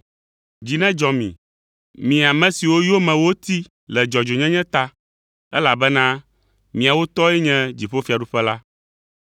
Dzi nedzɔ mi, mi ame siwo yome woti le dzɔdzɔenyenye ta, elabena miawo tɔe nye dziƒofiaɖuƒe la.”